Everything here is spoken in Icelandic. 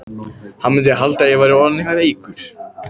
Hann mundi halda að ég væri orðinn eitthvað veikur.